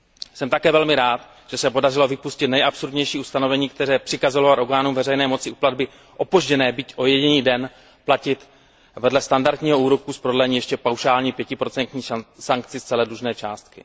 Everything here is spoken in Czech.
Jsem také velmi rád, že se podařilo vypustit nejabsurdnější ustanovení, které přikazovalo orgánům veřejné moci u platby opožděné byť o jediný den platit vedle standardního úroku z prodlení ještě paušální 5 sankci z celé dlužné částky.